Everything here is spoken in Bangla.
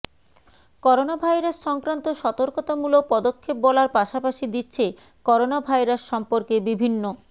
করোনাভাইরাস সংক্রান্ত সতর্কতামূলক পদক্ষেপ বলার পাশাপাশি দিচ্ছে করোনাভাইরাস সম্পর্কে বিভিন্ন